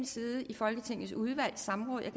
side i folketingets udvalg i samråd jeg